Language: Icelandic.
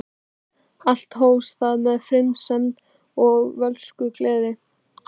Allt hófst það með friðsemd og fölskvalausri gleði.